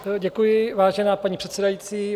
Děkuji, vážená paní předsedající.